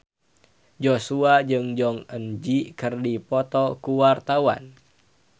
Joshua jeung Jong Eun Ji keur dipoto ku wartawan